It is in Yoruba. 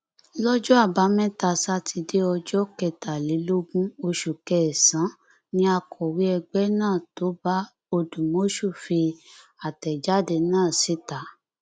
lọjọ àbámẹta sátidé ọjọ kẹtàlélógún oṣù kẹsànán ni akọwé ẹgbẹ náà tóbá òdùmọṣù fi àtẹjáde náà síta